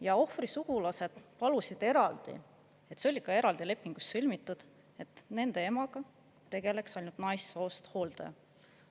Ja ohvri sugulased palusid eraldi – see oli ka eraldi lepingus sõlmitud –, et nende emaga tegeleks ainult naissoost hooldaja.